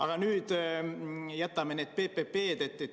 Aga jätame nüüd need PPP-d.